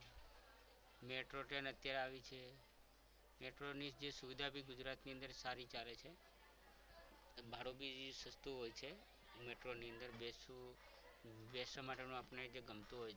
Metro train અત્યારે આવી છે metro ની જે સુવિધા પણ ગુજરાતની અંદર સારી ચાલે છે બારડોલી સસ્તુ હોય છે metro ની અંદર બેસવું બેસવા માટેનું idea આપણને ગમતો હોય